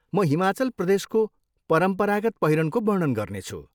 म हिमाचल प्रदेशको परम्परागत पहिरनको वर्णन गर्नेछु।